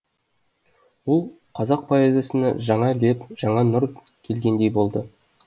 бұл қазақ поэзиясына жаңа леп жаңа нұр келгендей болды